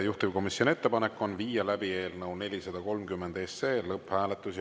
Juhtivkomisjoni ettepanek on viia läbi eelnõu 430 lõpphääletus.